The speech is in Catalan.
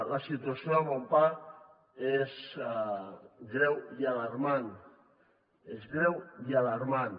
la situació de monpack és greu i alarmant és greu i alarmant